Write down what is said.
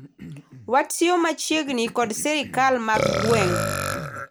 watiyo machiegni kod sirikal mag gweng'